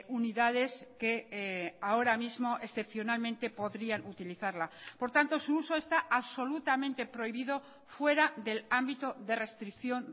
unidades que ahora mismo excepcionalmente podrían utilizarla por tanto su uso está absolutamente prohibido fuera del ámbito de restricción